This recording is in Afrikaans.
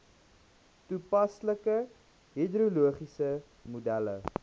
toepaslike hidrologiese modelle